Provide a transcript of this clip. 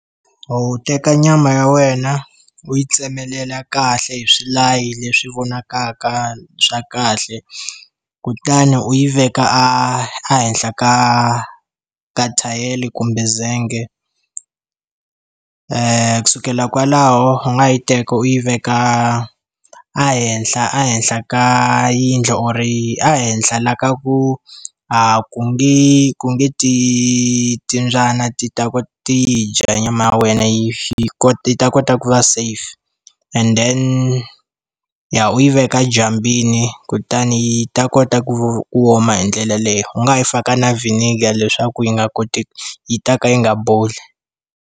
U teka nyama ya wena u yi tsemelela kahle hi swilayi leswi vonakaka swa kahle, kutani u yi veka a a henhla ka ka thayere kumbe zenghe. Ku sukela kwalaho u nga ha yi teka u yi veka ehenhla ehenhla ka yindlu or-i ehenhla laha ka ku a ku nge ku nge ti timbyana ti ta ti yi dya nyama ya wena, yi yi ta kota ku va safe. And then ya u yi veka edyambwini kutani yi ta kota ku ku oma hi ndlela yaleyo. U nga ha yi faka na vinegar leswaku yi nga koti yi ta ka yi nga boli.